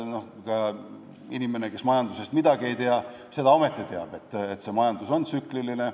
Ka inimene, kes majandusest midagi ei tea, teab ometi seda, et majandus on tsükliline.